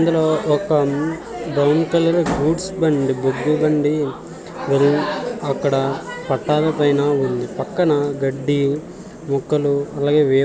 అందులో ఒక brown colour goods బండి బొగ్గు బండి అక్కడ పట్టాల పైన ఉంది. పక్కన గడ్డి మొక్కలు అలాగే